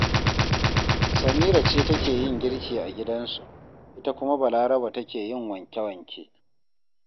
Samira ce take yin girki a gidansu, ita kuma Balaraba take yin wanke-wanke